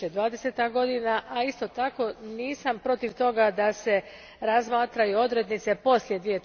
2020. godina, a isto tako nisam protiv toga da se razmatraju odrednice poslije